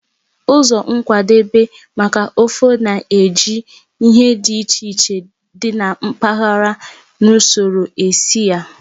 Ụzọ nkwadebe maka ofe na-eji ihe dị iche iche dị na mpaghara na usoro esi nri.